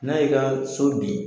N'a y'i kaa so bin